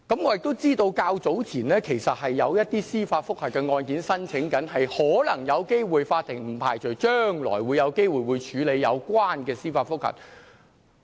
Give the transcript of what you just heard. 我知道較早前有一些案件正申請司法覆核，不排除法庭將來可能有機會處理有關的司法覆核個案。